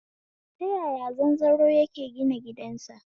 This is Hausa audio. Ta yaya zanzaro yake gina gidansa?